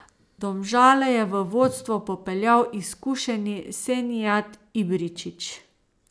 Domžale je v vodstvo popeljal izkušeni Senijad Ibričić.